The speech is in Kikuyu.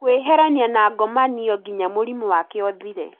Kũĩeherania na ngomanio nginya mũrimũ wake ũthire